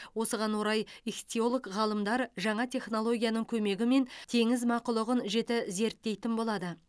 осыған орай ихтиолог ғалымдар жаңа технологияның көмегімен теңіз мақұлығын жіті зерттейтін болады